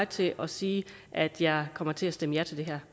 til at sige at jeg kommer til at stemme ja til det